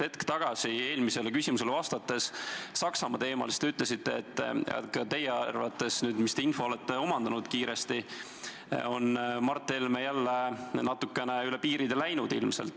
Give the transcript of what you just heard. Hetk tagasi, vastates eelmisele küsimusele Saksamaa teemal, te ütlesite, et ka teie arvates, selle info põhjal, mida te olete kiiresti saanud, on Mart Helme jälle ilmselt natukene üle piiri läinud.